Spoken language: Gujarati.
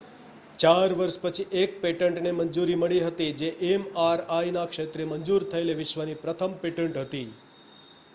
4 વર્ષ પછી એક પેટન્ટને મંજૂરી મળી હતી જે mri ના ક્ષેત્રે મંજુર થયેલી વિશ્વની પ્રથમ પેટેન્ટ હતી